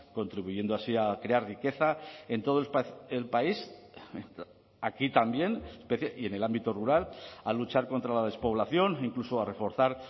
contribuyendo así a crear riqueza en todo el país aquí también y en el ámbito rural a luchar contra la despoblación incluso a reforzar